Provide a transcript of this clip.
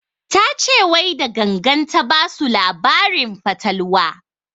Ta ce wai da gangan ta basu labarin fatalwa